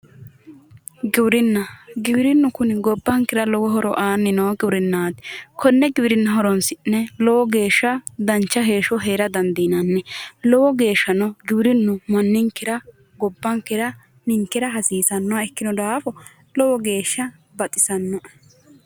Giwirinna yineemmo woyte giwirinnu kuni gobbankera lowo horo aanni noo giwrinna konne giwirinna horoonsi'ne lowo geeshsha dancha heeshsho heera dandiinanni lowo geeshsha ninkera gobbankera injaanno